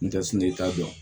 N tɛ ta dɔn